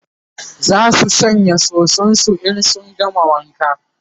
zasu shanya soson su in sun gama wanka